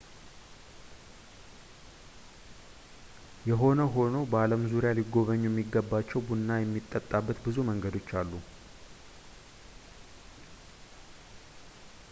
የሆነ ሆኖ በዓለም ዙሪያ ሊጎበኙ የሚገባቸው ቡና የሚጠጣበት ብዙ መንገዶች አሉ